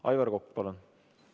Aivar Kokk, palun!